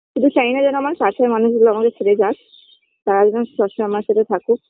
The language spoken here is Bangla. কিছু চাইনা যেন আমার পাশের মানুষগুলো আমাদের ছেড়ে যাক তারা যেন সবসময় আমার সাথে থাকুক